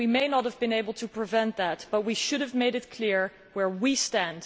We may not have been able to prevent that, but we should have made it clear where we stand.